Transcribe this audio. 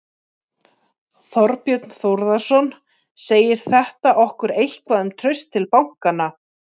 Þorbjörn Þórðarson: Segir þetta okkur eitthvað um traust til bankanna?